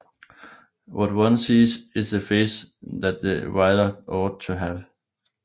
What one sees is the face that the writer ought to have